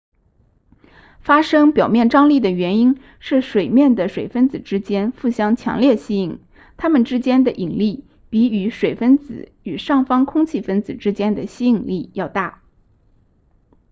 发生表面张力的原因是水面的水分子之间互相强烈吸引它们之间的引力比与水分子与上方空气分子之间的吸引力要大